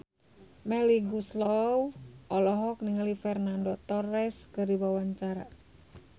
Melly Goeslaw olohok ningali Fernando Torres keur diwawancara